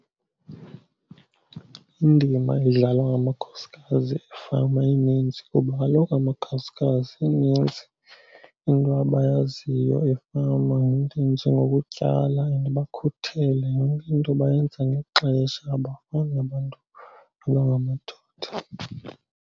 Indima edlalwa ngamakhosikazi efama ininzi kuba kaloku amakhosikazi ininzi into abayaziyo efama, iinto ezinjengokutyala and bakhuthele, yonke into bayenza ngexesha abafani nabantu abangamadoda.